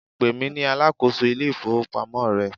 pèmí ní alákóso ilé ifowópamọ́ rẹ